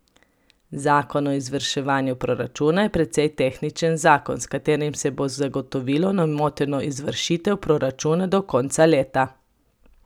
Zakon o izvrševanju proračuna je precej tehničen zakon, s katerim se bo zagotovilo nemoteno izvršitev proračuna do konca leta.